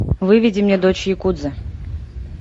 выведи мне дочь якудзы